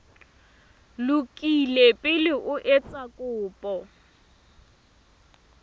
lokile pele o etsa kopo